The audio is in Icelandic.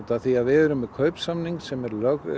því við erum með kaupsamning sem